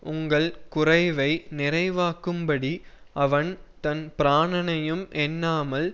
உங்கள் குறைவை நிறைவாக்கும்படி அவன் தன் பிராணணையும் எண்ணாமல்